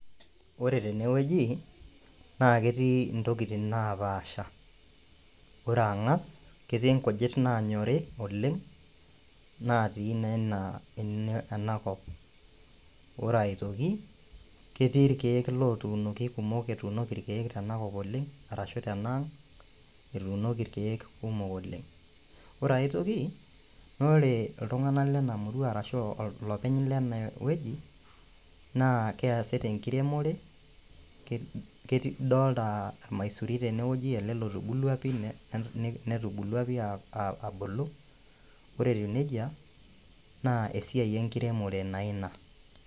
Ore tenewueji, na ketii intokiting napaasha. Ore ang'as, ketii inkujit nanyori oleng, natii naa ena enakop. Ore aitoki, ketii irkeek lotuunoki kumok etuunoki irkeek tenakop oleng, arashu tenaang', etuunoki irkeek kumok oleng. Ore aitoki, nore iltung'anak lena murua arashu olopeny lena wueji, naa keesita enkiremore, idolta ormaisuri tenewoji ele lotubulua pi netubulua pi abulu, ore etiu nejia, naa esiai enkiremore naa ina.